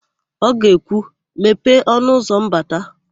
O ga-ekwu, "mepee ọnụụzọ mbata"!